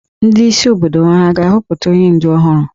Ndị isi obodo hà ga-ahọpụta onye ǹdù ọhụrụ?